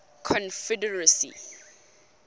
confederacy